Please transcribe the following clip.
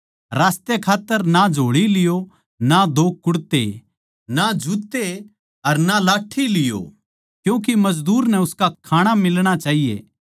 रास्ते खात्तर ना झोळी लियो ना दो कुड़ते ना जुत्ते अर ना लाठ्ठी लियो क्यूँके मजदूर नै उसका खाणा मिलणा चाहिए